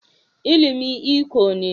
ilimi iko ne